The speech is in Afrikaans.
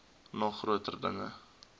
nog groter dinge